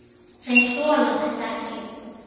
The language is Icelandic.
Þeir þola þetta ekki.